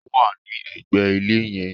Ó wà ní ẹ̀gbẹ̀ ilé yẹn